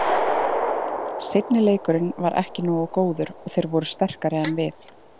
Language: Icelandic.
Seinni leikurinn var ekki nógu góður og þeir voru sterkari en við.